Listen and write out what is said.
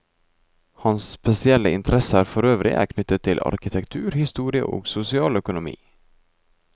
Hans spesielle interesser forøvrig er knyttet til arkitektur, historie og sosialøkonomi.